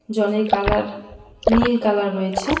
জলের কালার নীল কালার রয়েছে।